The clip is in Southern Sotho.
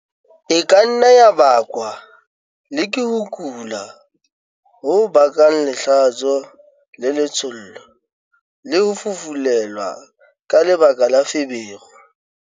E ka nna ya bakwa le ke ho kula ho bakang lehlatso-letshollo, le ho fufulelwa ka lebaka la feberu.